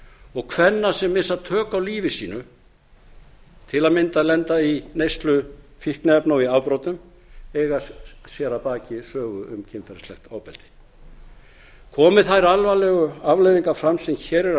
og kvenna sem missa tök á lífi sínu til að mynda lenda í neyslu fíkniefna og í afbrotum eiga sér að baki sögu um kynferðislegt ofbeldi komi þær alvarlegu afleiðingar fram sem